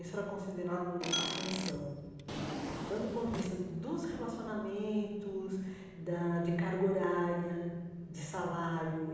Isso era considerado ascensão né, tanto do ponto de vista do dos relacionamentos, da de carga horária, de salário.